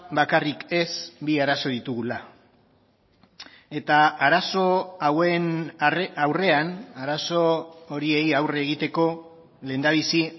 bakarrik ez bi arazo ditugula eta arazo hauen aurrean arazo horiei aurre egiteko lehendabizi